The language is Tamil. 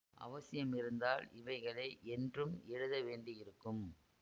அவசியமிருந்தால் இவைகளை என்றும் எழுதவேண்டியிருக்கும்